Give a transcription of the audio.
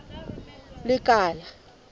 lekala